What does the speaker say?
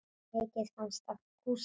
Mikið fannst af kúskel.